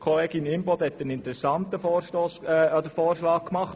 Grossrätin Imboden hat einen interessanten Vorschlag gemacht: